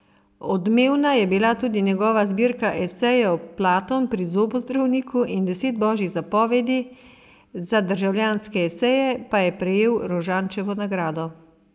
Odmevna je bila tudi njegova zbirka esejev Platon pri zobozdravniku in Deset božjih zapovedi, za Državljanske eseje pa je prejel Rožančevo nagrado.